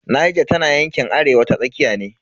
Niger tana yankin arewa ta tsakiya ne.